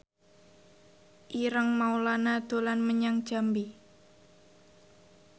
Ireng Maulana dolan menyang Jambi